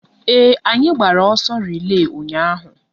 Ee, anyị gbara ọsọ relay ụnyaahụ